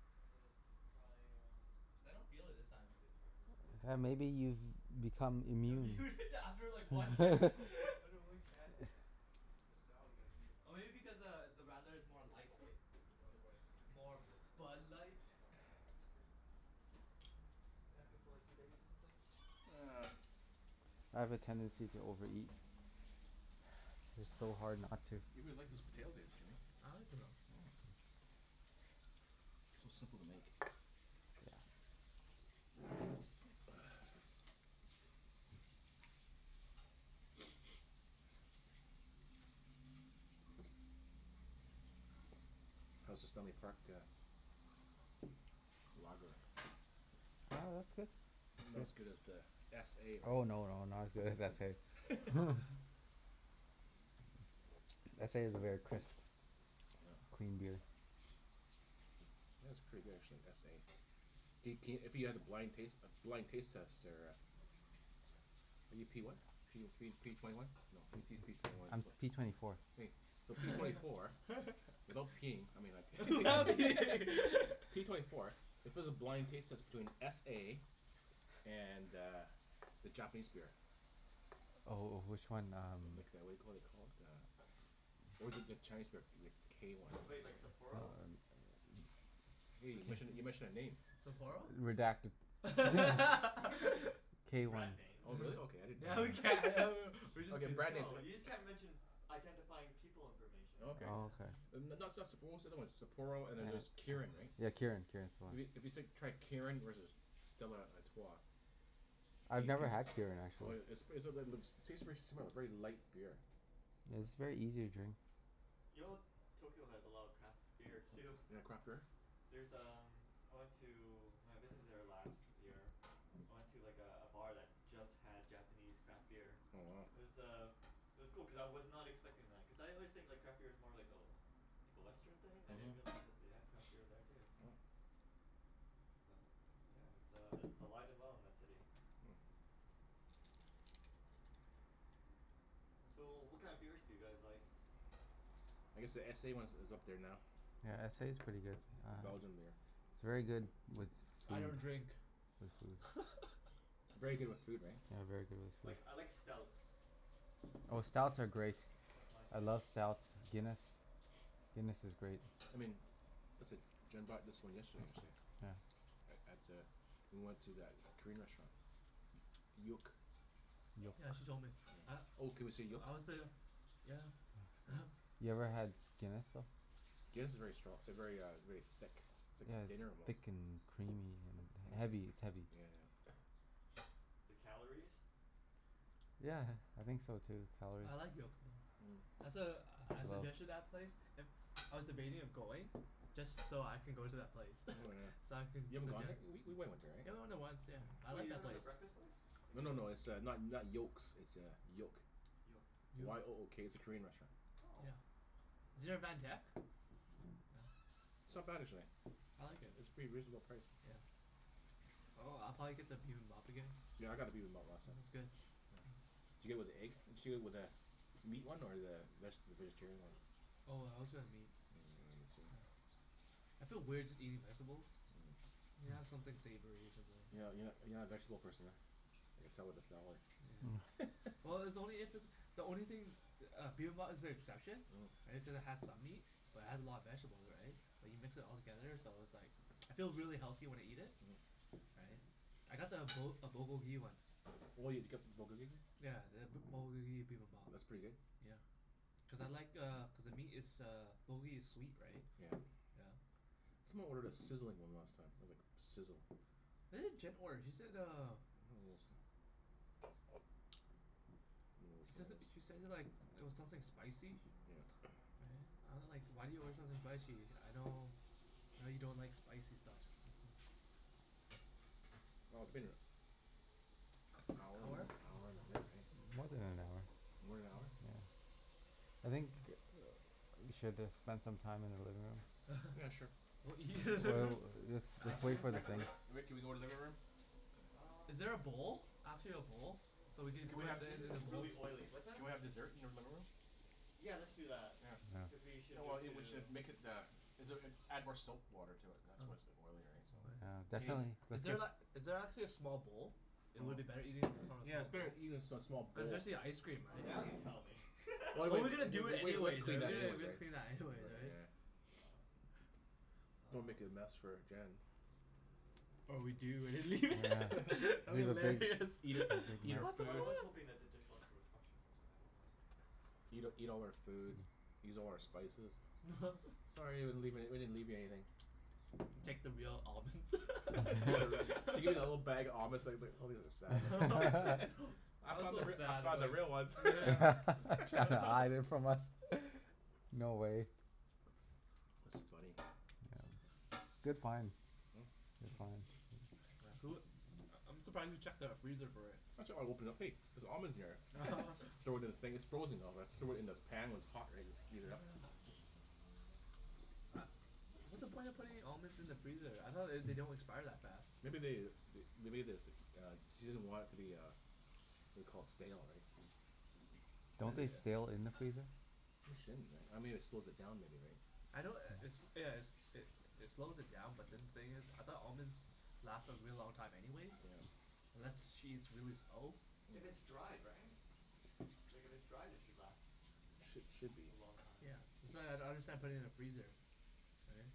Just wanted to try uh Cuz I don't feel it this I time. wanna say the tri-force of wisdom Yeah, maybe but you've become That'd be immune? weird to after like one can after one can. This salad, you gotta eat it when Oh, it's maybe f- because uh, the radler is more light, right? Cuz otherwise it's gonna More congeal. Bud Light? Not not doesn't taste as good. Isn't it good for like two days or something? I have a tendency to overeat. It's so hard not to. You really like those Mm. potatoes, eh Jimmy? I like it though. Yeah. So simple to make. Yeah. How's the Stanley Park uh Lager? Yeah, that's good. Not as good as the s a Oh right? no, no, not as good as s a S a is a very crisp Yeah. clean beer. Yeah, it's pretty good actually. S a. Do c- if you had a blind taste blind taste test there uh Are you p what? P oh three p twenty one? No, I just use p twenty one and I'm twen- p twenty four. Hey, so p twenty four without peeing, I mean I c- Without peeing. P twenty four if it was a blind taste test between s a and uh, the Japanese beer Oh oh, which one? Um Like the whaddya call it you call it? Uh Or is it the Chinese beer? The k one. Wait, like Sapporo? Hey, you Which mentioned a, you mentioned a name. Sapporo? Redact- No, you can you can you can mention b- K one. brand names. Oh really? Okay. uh-huh. I didn't Yeah, we can! A know. w- w- we're just Okay, kidding. brand names No, you just a- can't mention identifying people information. Oh, okay. Oh, okay. Yeah N- n- not stuff Sap- but what's the other one? Sapporo and then there's Yeah. Kirin, right? Yeah, Kirin. Kirin's the one. If you if you s- tried Kirin versus Stella Artois I've could never had c- Kirin, Oh actually. yeah, it's seems pretty smooth. Very light beer. Yeah, is very easy to drink. Yo Tokyo has a lot of craft beer too. They got craft beer? There's um, I went to when I visited there last year I went to like a a bar that just had Japanese craft beer. Oh, wow. It was uh, it was cool cuz I was not expecting that. Cuz I always think like craft beer's more like a like a Western thing. I didn't Mhm. realize that they had craft beer there too. Oh. But yeah, it's uh i- it's alive and well in that city. Mm. So, what kind of beers do you guys like? I guess the s a ones is up there now. Yeah, S a's Oh. pretty good. It's a Uh Belgian beer. It's very good with I don't food. drink. With Oh. food. Very good with food, right? Yeah, very good with food. Like, I like stouts. Oh, That's my, stouts are great. that's my I thing. love stouts. Guinness. Guinness is great. I mean This id- Jenn bought this one yesterday actually. Yeah. A- at the we went to that Korean restaurant. Yook. Yook. Yeah, she told me. Yeah. A- Oh, can we say Yook? I wanna say uh Yeah. Oh. You ever had Guinness, though? Guinness if very stro- very uh, very thick. It's Yeah, like dinner it's almost. thick and creamy Mm. and Yeah heavy. It's heavy. yeah yeah. The calories? Yeah, I think so, too. Calories. I like Yook, no. Mm. That's a, I Woah. suggested that place. If I was debating of going just so I can go to that place. Oh yeah. So I can You haven't gone there? suggest W- we went went there, right? Yeah, we went there once, yeah. I Wait, like you're that talking about place. the breakfast place? Like No the no no, it's uh not not Yokes, it's uh, Yook. Yoke. Yook. Y o o k. It's a Korean restaurant. Oh. Yeah. I've Is there a never Van Tech? Oh. It's not bad actually. I like it. It's pretty reasonable priced. Yeah. Oh, I'll probably get the bibimbap again. Yeah, I got the bibimbap last It time. was good. Yeah. Did you get it with the egg? Did you get it with a meat one or the veg- vegetarian one? Oh, I always got a meat. Oh, yeah, did you? Yeah. I feel weird just eating vegetables. Mm. You have Mm. something savory or something. You're not you're not you're not a vegetable person, huh? I could tell with the salad. Mm. Yeah. Well, it's only if it's the only thing the uh, bibimbap is the exception. Mm. Right? Because it has some meat. But it has a lot of vegetables, right? Like, you mix it all together so it's like I feel really healthy when I eat it. Mhm. Right? I got the Bu- a Bulgogi one. Oh, you'd get Yeah, the B- Bulgogi Bibimbap. That's pretty good? Yeah. Cuz I like uh, cuz the meat is uh Bulgogi is sweet, right? Yeah. Yeah. Someone ordered a sizzling one last time. I was like, sizzle. What did Jen order? She said uh I don't know this time. she says it, she said it like it was something spicy? Yeah. Right? I wa- like, why do you order something spicy? I know know you don't like spicy stuff. Mhm. Oh, it's been a hour and Hour? hour and a bit, right? More than an hour. More than an hour? Mm. Yeah. I think we should have spent some time in the living room. Yeah, sure. What, Well w- you let's let's wait Actually for the Rick thing. Rick Rick, can we go to the living room? Um Is there a bowl? Actually a bowl? So we can Can we Everything's, have these are in a just bowl? really oily. What's that? Can we have dessert in your living room? Yeah, let's do that. Yeah. Cuz Yeah. we should Oh well, move it to we should make it the is it uh add more soap water to it, and that's why it's so Oh. oily, right? So Oh yeah. Yeah, Is In th- definitely. is Let's there la- see is there actually a small bowl? It Oh. would be better eating from a Yeah, it's small bowl. better eating a s- small Cuz bowl. especially ice cream, Oh, right? now you tell me. Well we Well, we're gonna do we it we would have anyways, right? cleaned We that gotta anyways, we gotta right? clean that Right, anyways, right? yeah. Yeah. Don't wanna make Um a mess for Jen. Or we do and then Yeah, lea- yeah. that'd be Leave a big hilarious. Eat her eat her What the Well, I fuck? food. was hoping that the dishwasher was functional but I don't know. Eat eat all her food. Use all her spices. Sorry, we didn't leave any we didn't leave you anything. Take the real almonds. Yeah right. She gets a little bag of almonds it's like it's like probably has a sad look on I I was found the so r- I sad found about the real ones. Yeah. She had to hide it from us. No way. That's funny. Yeah. Good find. Good find. Yeah, who u- I I'm surprised you checked the freezer for it. I ch- I opened it up. Hey, there's almonds in here. Throw it in the thing it's frozen though, that's throw it in the pan when it's hot, right? Just Oh heat it yeah. up. U- what's the point of putting almonds in the freezer? I thought they d- don't expire that fast. Maybe they th- they made this uh, she doesn't want it to be uh whaddya call it? Stale, right? Don't Don't they they Taste stale in the freezer? They shouldn't, right? I mean it slows it down maybe, right? I know i- it's yeah it's it it slows it down but then the thing is, I thought almonds lasted a really long time anyways? Yeah. Unless she eats really slow? If it's Mm. dried, right? Like, if it's dried it should last Sh- should be. a long time. Yeah, that's why I I don't understand putting it in the freezer. Right?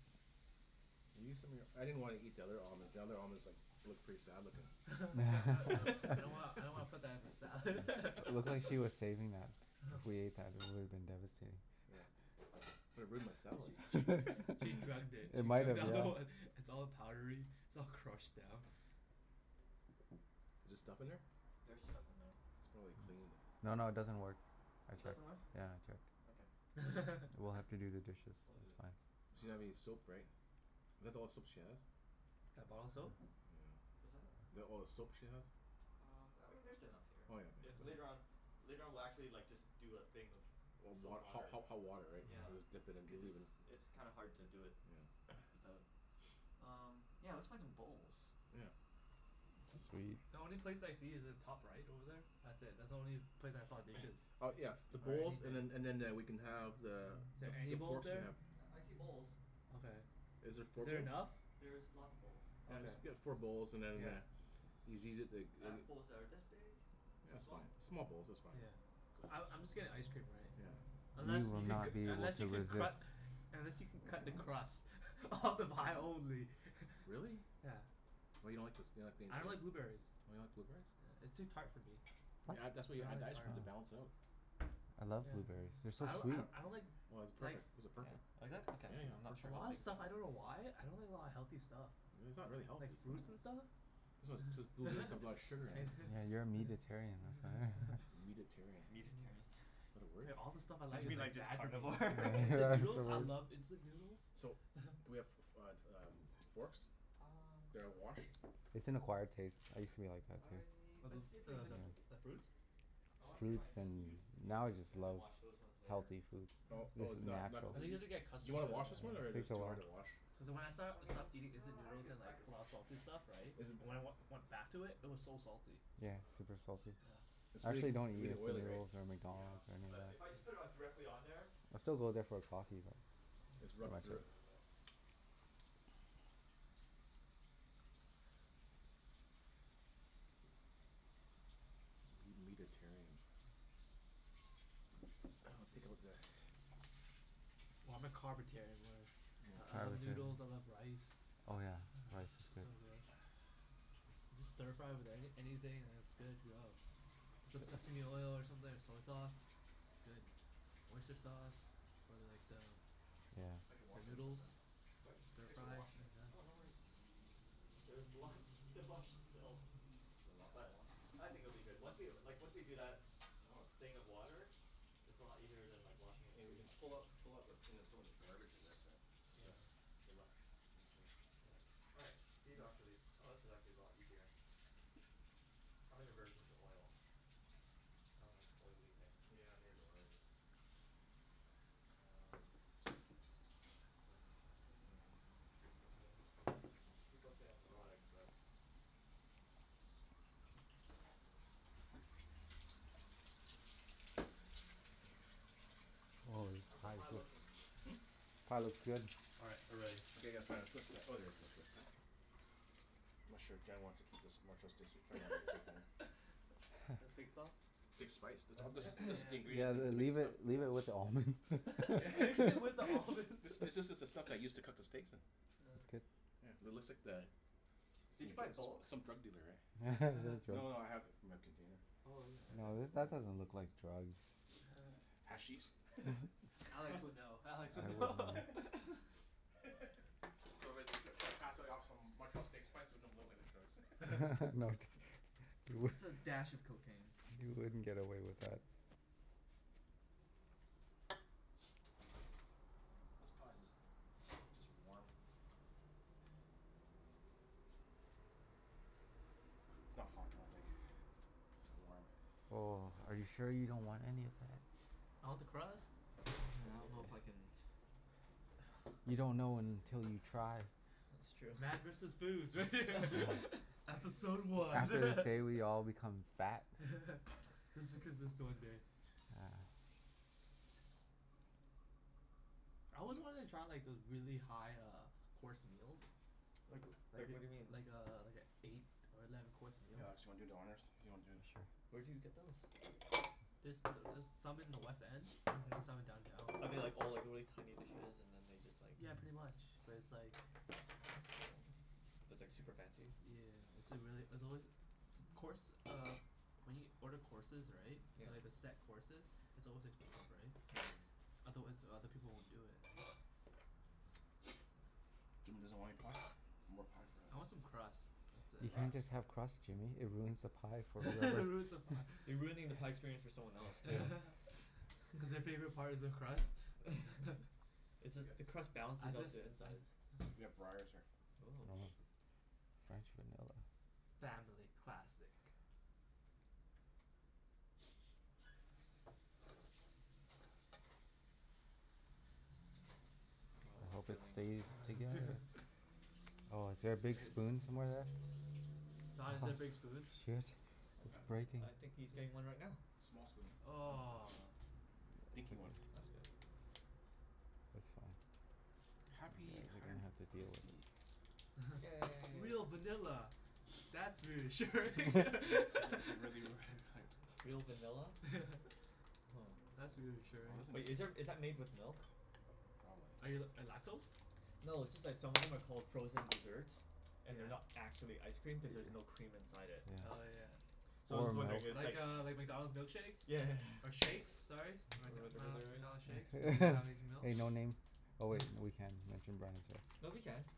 I used some of your, I didn't wanna eat the other almonds, the other almonds like looked pretty sad looking. I don't wanna, I don't wanna put that in the salad. It looked like she was saving that. If we ate that it would have been devastating. Yeah. It would've ruined my She she salad. she drugged it. It She might drugged have, all the yeah. one. It's all powdery. It's all crushed down. Is there stuff in Hmm, there? there's stuff in there. It's probably clean. No, no it doesn't work. I It checked. doesn't work? Yeah, I checked. Okay. We'll have to do the dishes. We'll do It's it. fine. She doesn't have any Um soap, right? Is that the all the soap she has? That bottle soap? Yeah. What's that? Is that all the soap she has? Um, I mean there's enough here. Oh yeah I- Oh later yeah. on, later on we'll actually like just do a thing of Of wa- soap ho- water. ho- hot water, right? Yeah. We'll just Yeah. dip it in, we'll Cuz leave it's it it's kinda hard to do it Yeah. without. Um, yeah, let's find some bowls. Yeah. Jus- Sweet. the only place I see is the top right over there. That's it. That's the only place I saw dishes. Oh, yeah, the Or bowls anything. and then and then eh- we can have the Is the there f- any the bowls forks we there? have. Yeah, I see bowls. Okay. Is there four Is there bowls? enough? There's lots of bowls. I Okay. guess we got four bowls and then Yeah. uh yous easy it to g- I have bowls that are this big. Yeah, Too that's small? fine. Small bowls. That's fine. Yeah. Small bowls? I I'm just getting ice cream, right? Yeah. Unless You will you can c- not be able unless to you can resist. cru- unless you can cut the crust off the pie only. Really? Yeah. What, you don't like the s- you don't like being I don't like a blueberries. Oh, you don't like blueberries? Yeah, it's too tart for me. You What? add that's why you I don't add the like ice cream, tart. to balance it Oh. out. I love Yeah. blueberries. They're so I d- sweet. I d- I don't like Well this is like perfect. These are Yeah? perfect. Oh, is it? Yeah, Okay. I'm yeah. not For sure a how lot sure. of big y- stuff. I don't know why. I don't like a lot of healthy stuff. Really? It's not really healthy. Like fruits and stuff. blueberries have a lot of sugar in it. Yeah. Yeah, you're a Mhm. meatetarian, that's why. Meatetarian. Meatetarian? Yeah. Is that a word? There, all the stuff I Don't like you is mean like like just bad for me. carnivore? Like It's instant noodles? a I word. love instant noodles. So, do we have f- f- uh, um, forks? Um That are washed? It's an acquired taste. I used to be like that too. I, A let's bl- see if we can uh just the bl- Yeah. the fruits? I wanna see if I Fruits can just use and new now I ones just and then love wash those ones later. healthy foods. Oh This Mm. oh is it's not not natural. I think you clean? have to get Do you accustomed to wanna it, wash this Yeah, Yeah. one yeah. or it's takes a too while. hard to wash? Cuz when I st- I mean stopped eating instant yeah, I noodles could, and I like could a lot of wash them salty stuff, right? Is it When th- I wen- went back to it it was so salty. I just Yeah, gotta it's super salty. Yeah. It's I really actually don't really eat oily, instant right? noodles, or Oh, yeah. McDonald's, or anything But like if I just that. put it on Mhm. directly on there I still go there for a coffee, but It's Mm. rubbed this will through get it. rid of it. Meat meatetarian. I'll take out the Well, I'm a carbetarian, really. I I Yeah. love Carbetarian. noodles. I love rice. Oh yeah, Yeah. rice is good. Sounds good. You just stir-fry with anyth- anything and it's good to go. Some sesame oil or something, or soy sauce. Good. Oyster sauce. Or like the Yeah. Thanks for the washing this stuff, noodles. man. Sorry? Thanks for stir-fry, washing shit it. is done. Oh, no worries. There's lots to wash still. Is there lots to But wash? I think it'll be good. Once we, like once we do that Oh, it's thing of water it's a lot easier than washing it And we can freehand, so pull out pull out those things and throw it in the garbage I guess, right? Yeah. All right, these are actually, oh, this is actually a lot easier. I have an aversion to oil. I don't like oily things. Yeah, neither do I l- Um Happened the I mean people say I'm neurotic but Mm. Holy, How's the pie pie looks good. looking? Hmm? Pie looks good. All right, we're ready. Okay, gotta find a twist ti- oh, there's my twist tie. I'm not sure if Jen wants to keep this Montreal steak sp- you probably wanna take it home. The steak sauce? Steak spice. This Oh, al- this spice? Yeah this is yeah the yeah. Yeah, ingredient l- to make the leave it stuff. leave it with the Yeah. almonds. Mix it with the almonds. This is this is the stuff they use to cook the steaks in Yeah. It's good. Yeah. It looks like the Did you n- buy tr- bulk? s- some drug dealer, eh? No no no, I have it my container. Oh yeah, okay. No, th- Cool. Mm. that doesn't look like drugs. Hashish? Alex would know. I Alex would would know. know. Do you want me t- to try pass like off some Montreal steak spice and make it look like drugs? No t- you w- Just a dash of cocaine. You wouldn't get away with that. This pie's just just warm. It's not hot, I don't think. It's warm. Oh, are you sure you don't want any of that? I want the crust. I don't know if I can You don't know until you try. That's true. Man versus food. Yeah. Episode one. After this day we all become fat. Just because it's the one day. Yeah. I Coming always up. wanted to try like those really high uh course meals. Like w- like Like what do you mean? i- like a like i- eight or eleven course Hey meals. Alex, you wanna do the honors? If you wanna do this Sure. Where do you get those? There's th- there's some in the West End. Mhm. There's some in downtown. Are they like all like really tiny dishes and then they just like Yeah, Mm. pretty much but it's like That's cool. it's But it's like super fancy? yeah. It's a really, it's always t- course uh when you order courses, right? Yeah. Like the set courses? It's always expensive, right? Mm. Otherwise other people won't do it, right? Jimmy doesn't want any pie? More pie for I want some us. crust. That's You it. can't just Crust? have crust, Jimmy. It ruins the pie for It everyone ruins the else. pie. You're ruining the pie experience for someone else, Yeah. too. Cuz their favorite part is the crust? It's We got just the crust I balances out just the I insides. We have Breyers here. Oh. Oh. French vanilla. Family classic. I Oh, I'm hope it feeling stays together. Oh, is there a big spoon somewhere there? Don, is Aha. there a big spoon? Shit. It's Huh? breaking. Uh, I think he's getting one right now. Small spoon. Oh. Aw. Dinky one. That's good. That's fine. Yeah, Happy you hundred didn't and have to deal with fifty. it. Yay. Real vanilla. That's reassuring! Is it really were their there? Real vanilla? Yeah. Oh. That's reassuring. Wow, Wait, this is there, thing's is that made with milk? Probably. Are you l- lactose? No, it's just that some of them are called frozen dessert and they're Yeah. not actually ice cream cuz there's no cream inside it. Oh Yeah. yeah. So I was Or just milk. wondering if it's like Like uh like McDonald's milkshakes? Yeah. Or shakes, sorry. Am I d- Or am I whatever al- they're at. McDonald's shakes? Hey no name. Oh wait, we can mention brand names here. No, we can. Yeah.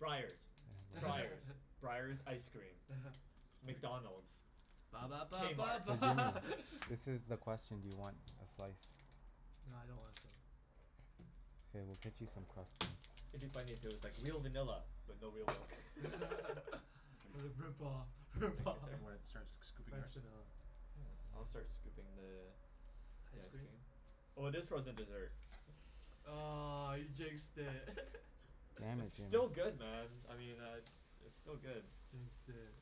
Breyers. Yeah. Yeah. Breyers. Breyers ice cream. uh-huh. McDonald's. Ba ba ba ba K-Mart. ba Hey Jimmy. This is the question. Do you want a slice? Nah, I don't wanna K, we'll cut you some crust then. It'd be funny if it was like, "Real vanilla but no real milk." Jim. It's a rip-off. Thank you, rip-off. sir. You wanna start sc- scooping French yours? vanilla. Yeah. I'll start scooping the the Ice ice cream? cream. Oh, it is frozen dessert. Aw, you jinxed it. Damn it, It's still Jimmy. good, man. I mean I It's still good. Jinxed it.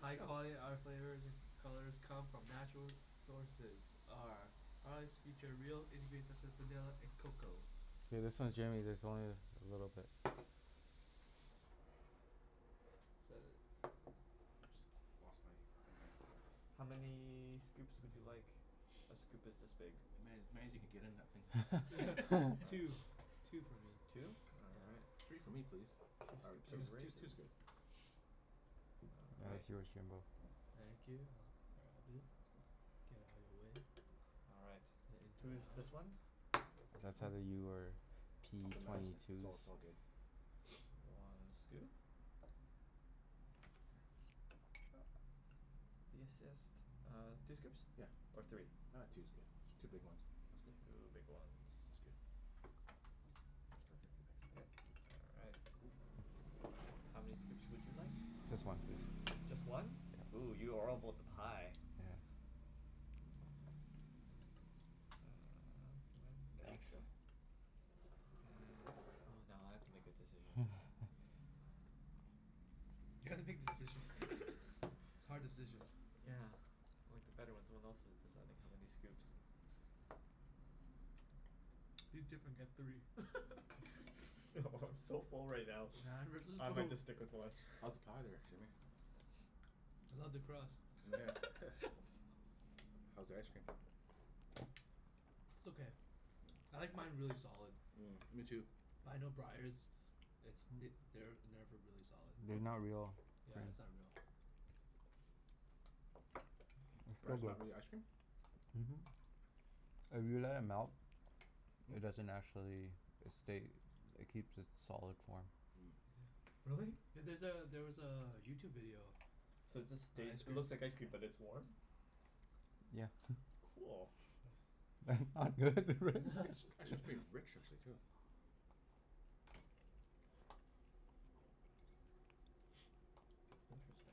High quality. Our flavors colors come from natural sources. Our products feature real ingredients such as vanilla and cocoa. Okay, this one Jimmy's, this one is a little bit Oops, lost my thing here. How many scoops would you like? A scoop is this big. As many as many as you can get in that All right. thing. Two. Two for me. Two? All right. Yeah. Three for me please. Two All right, scoops two's of two's Yeah. raisins two's good. All That right. is yours, Jimbo. Thank you. I'll grab it. Get outta your way. All right. And into my Who's mouth. this one? That's either Mm. you or p Open mouths, twenty it's two's. all it's all good. One scoop. If you insist. Uh, two scoops Yeah. or three? Ah, two's good. K. Two big ones. That's good. Two big ones. That's good. That's perfect. Yep. Thanks. All right. How many scoops would you like? Just one, please. Just one? Yeah. Ooh, you are all about the pie. Yeah. There we go. And oh, now I have to make a decision. You have to make decision. It's hard decision. Yeah, I liked it better when someone else was deciding how many scoops. Be different. Get three. No, I'm so full right now. Man versus I might foo- just stick with one. How's the pie there, Jimmy? I love the crust. Nyeah. How's the ice cream? It's okay. Mm. I like mine really solid. Mm, me too. But I know Breyers it's th- they're never really solid. They're not No? real Yeah, cream. it's not real. Breyers not really ice cream? Mhm. If you let it Hmm. melt it doesn't actually, Hmm? it stay it keeps its solid Mm. form. Yeah. Really? Yeah, there's a, there was a YouTube video. So it just On stays, ice it cream. looks like ice cream but it's warm? Yeah. Cool. That's not good, real Actually it's pretty rich, actually, too. Interesting.